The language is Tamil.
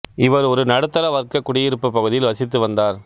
இவர் ஒரு நடுத்தர வர்க்கக் குடியிருப்புப் பகுதியில் வசித்து வந்தார்